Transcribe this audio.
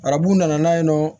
Arabu nana yen nɔ